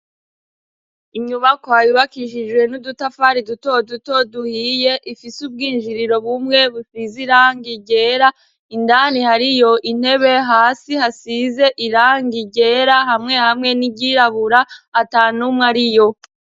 Inyubako hayubakishijwe n'udutafari dutodutoduhiye ifise ubwinjiriro bumwe bufize iranga igera indani hari yo intebe hasi hasize iranga igera hamwe hamwe n'iryirabura ata numwe ari yo.